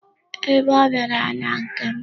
Ee, ọ bịara na nke m.